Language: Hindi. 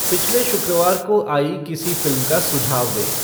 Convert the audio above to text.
पिछले शुक्रवार को आई किसी फ़िल्म का सुझाव दें